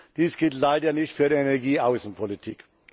Dies gilt leider nicht für die Energieaußenpolitik.